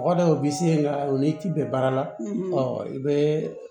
Mɔgɔ dɔ bi se ka o ni ci bɛɛ baara la i bee